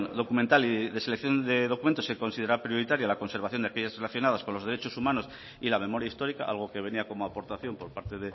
documental y de selección de documentos se considera prioritaria la conservación de aquellas relacionadas con los derechos humanos y la memoria histórica algo que venía como aportación por parte